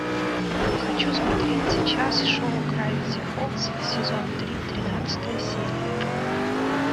хочу смотреть сейчас шоу гравити фолз сезон три тринадцатая серия